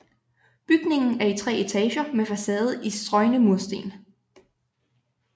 Bygningen er i tre etager med facade i strøgne mursten